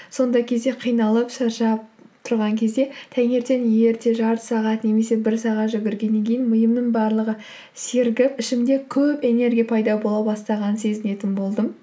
сондай кезде қиналып шаршап тұрған кезде таңертен ерте жарты сағат немесе бір сағат жүгіргеннен кейін миымның барлығы серігіп ішімде көп энергия пайда бола бастағанын сезінетін болдым